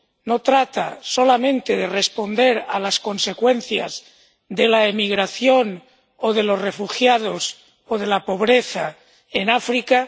No trata solamente de responder a las consecuencias de la emigración, o de los refugiados, o de la pobreza en África